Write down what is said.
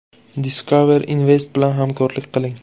Discover Invest bilan hamkorlik qiling!.